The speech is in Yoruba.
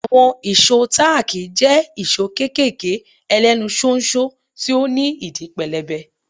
Àwọn ìṣó táàkì jẹ́ ìṣó kéékèèké ẹlẹ́nu ṣóńṣó tí ó ní ìdí pẹlẹbẹ.